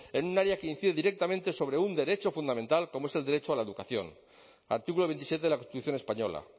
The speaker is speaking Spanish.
beneficios en un área que incide directamente sobre un derecho fundamental como es el derecho a la educación artículo veintisiete de la constitución